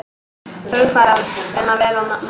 Hugarfar, vinna vel og nenna að æfa.